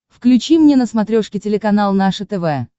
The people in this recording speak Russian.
включи мне на смотрешке телеканал наше тв